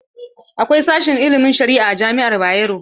Akwai sashen ilimin sharia a jami'ar Bayero.